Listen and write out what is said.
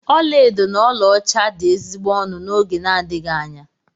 Ọlaedo na ọlaọcha dị ezigbo ọnụ n'oge n'adịghị anya.